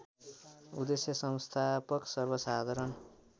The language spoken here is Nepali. उद्देश्य संस्थापक सर्वसाधारण